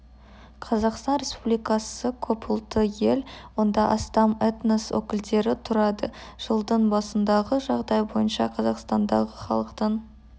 қазақстан республикасы көп ұлтты ел онда астам этнос өкілдері тұрады жылдың басындағы жағдай бойынша қазақстандағы халықтың